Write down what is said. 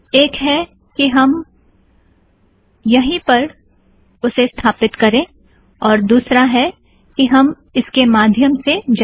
एक है कि हम यही पर उसे स्थापित करें और दुसरा है कि हम इसके माध्यम से जाएं